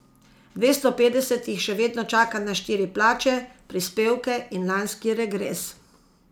Dvesto petdeset jih še vedno čaka na štiri plače, prispevke in lanski regres.